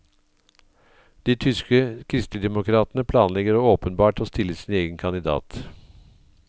De tyske kristeligdemokratene planlegger åpenbart å stille sin egen kandidat.